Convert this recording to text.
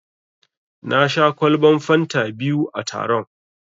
Na sha ƙwalban fanta biyu a taron.